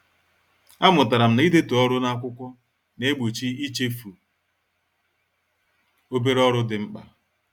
A mụtara m na-idetu ọrụ n'akwụkwọ na-egbochi ichefu obere ọrụ dị mkpa